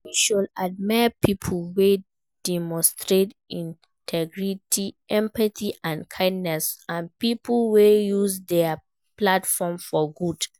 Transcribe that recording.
We should admire people wey demonstrate integrity, empathy and kindness and people wey use dia platform for good.